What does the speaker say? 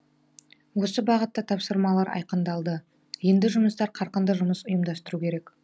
осы бағытта тапсырмалар айқындалды енді жұмыстар қарқынды жұмыс ұйымдастыру керек